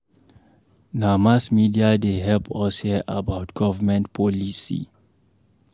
Na mass media dey help us hear about government policy.